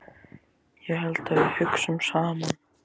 Ég held að við hugsum saman.